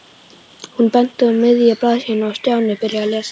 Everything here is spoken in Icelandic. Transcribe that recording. Hún benti á miðja blaðsíðuna og Stjáni byrjaði að lesa.